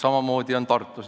Samamoodi on Tartus.